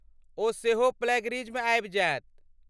ओ सेहो प्लैगियरिज्म आबि जायत।